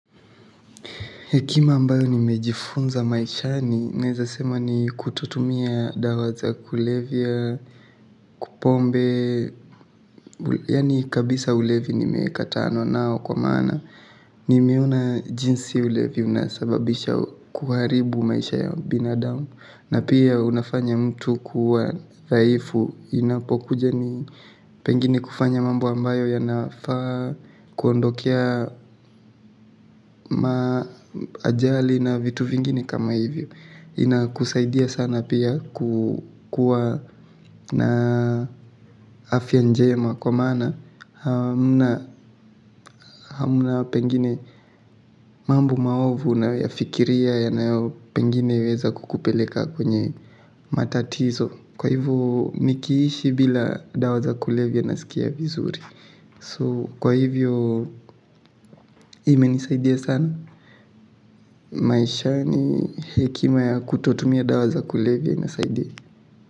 Hekima ambayo nimejifunza maishani naeza sema ni kutotumia dawa za kulevya pombe. Yaani kabisa ulevi nimekatana nao kwa maana. Nimeona jinsi ulevi unasababisha kuharibu maisha ya binadamu na pia unafanya mtu kuwa dhaifu. Inapokuja ni pengine kufanya mambo ambayo yanafaa kuondokea ma ajali na vitu vingine kama hivyo. Inakusaidia sana pia kukua na afya njema. Kwa maana hamna pengine mambo maovu unayoyafikiria yanayo pengine weza kukupeleka kwenye matatizo. Kwa hivyo nikiishi bila dawa za kulevya nasikia vizuri. So kwa hivyo imenisaidia sana. Maishani hekima ya kutotumia dawa za kulevya inasaidia.